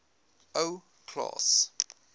ou klaas